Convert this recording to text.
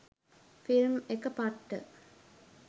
Film එක පට්ට.